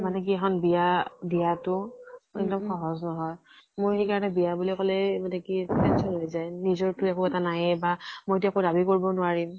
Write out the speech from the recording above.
মানেকি এখন বিয়া দিয়া তো, এক্দম সহজ নহয় । মই সেইকাৰণে বিয়া বুলি কলে মানে কি tension হৈ যায় । নিজৰ তো একো নাইয়ে বা মই তো একো দাবি কৰিব ও নোৱাৰিম ।